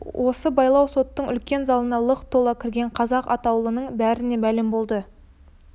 осы байлау соттың үлкен залына лық тола кірген қазақ атаулының бәріне мәлім болды